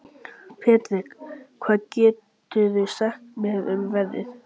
Patrek, hvað geturðu sagt mér um veðrið?